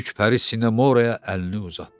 Böyük pəri Sinamora əlini uzatdı.